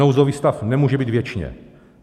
Nouzový stav nemůže být věčně.